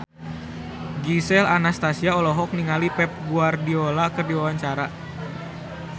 Gisel Anastasia olohok ningali Pep Guardiola keur diwawancara